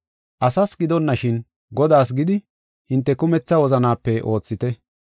Asas gidonashin, Godaas gidi hinte kumetha wozanaape oothite.